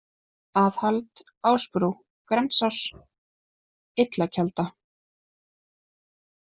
Aðhald, Ásbrú, Grensás, Illakelda